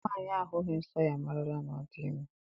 Nwaanyị ahụghị nsọ ya amarala na ọ dị ime.